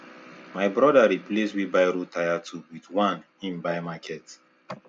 my brother replace wheel barrow tyre tube with one he buy market